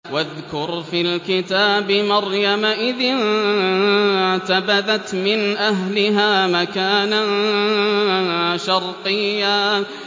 وَاذْكُرْ فِي الْكِتَابِ مَرْيَمَ إِذِ انتَبَذَتْ مِنْ أَهْلِهَا مَكَانًا شَرْقِيًّا